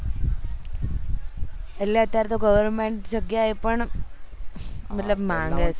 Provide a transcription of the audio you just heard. એટલે અત્યારે તો government જગ્યાએ પણ મતલબ માંગે છે